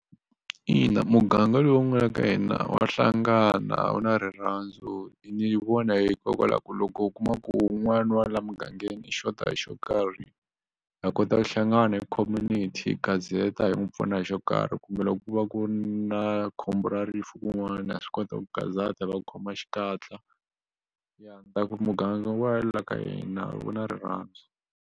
Ina muganga yoloye u nga ya ka yana wu hlangana u na rirhandzu i ni vona hikokwalaho ku loko u kuma ku wun'wani wa laha mugangeni xota hi xo karhi ha kota ku hlangana hi community gazata hi n'wi pfuna hi xo karhi kumbe loko ko va ku ri na khombo ra rifu kun'wana ha swi kota ku gazata hi va khoma xikatla ya ni ta ku muganga wa la ka hina wu na rirhandzu.